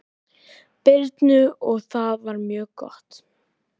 Birnu og það var mjög gott.